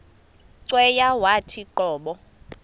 cweya yawathi qobo